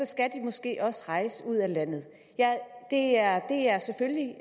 skal måske også rejse ud af landet det er det er selvfølgelig